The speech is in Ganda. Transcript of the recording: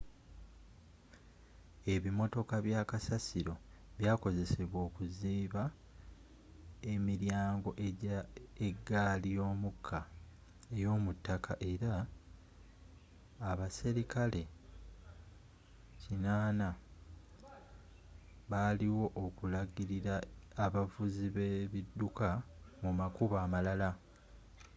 ebimmotoka bya kasasiro byakozesebwa okuziba emiryango egya eggaali y'omukka ey'omu ttaka era abaserikale 80 baaliwo okulagirira abavuzi be ebidduka mu makubo amalala